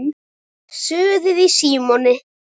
SUÐIÐ Í SÍMONI